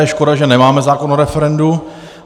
Je škoda, že nemáme zákon o referendu.